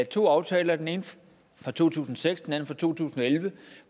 to aftaler den ene fra to tusind og seks og den anden fra to tusind og elleve